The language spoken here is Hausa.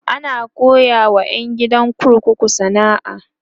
ana koyawa ƴan gidan kurkuku sana'a